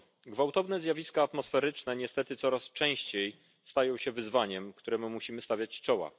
Gwałtowne zjawiska atmosferyczne niestety coraz częściej stają się wyzwaniem, któremu musimy stawiać czoła.